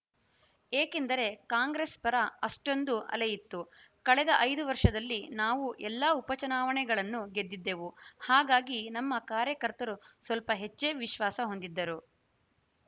ಏಕೆಂದರೆ ಕಾಂಗ್ರೆಸ್‌ ಪರ ಅಷ್ಟೊಂದು ಅಲೆಯಿತ್ತು ಕಳೆದ ಐದು ವರ್ಷದಲ್ಲಿ ನಾವು ಎಲ್ಲಾ ಉಪಚುನಾವಣೆಗಳನ್ನೂ ಗೆದ್ದಿದ್ದೆವು ಹಾಗಾಗಿ ನಮ್ಮ ಕಾರ್ಯಕರ್ತರು ಸ್ವಲ್ಪ ಹೆಚ್ಚೇ ವಿಶ್ವಾಸ ಹೊಂದಿದ್ದರು